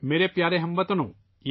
میرے پیارے ہم وطنو ،